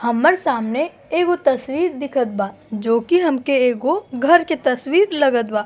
हम्मर सामने एगो तस्वीर दिखत बा जो की हमके एगो घर के तस्वीर लगत बा।